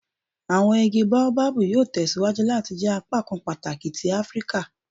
Awọn igi Baobab yoo tẹsiwaju lati jẹ apakan pataki ti Afirika